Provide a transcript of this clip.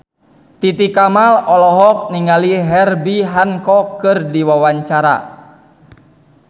Titi Kamal olohok ningali Herbie Hancock keur diwawancara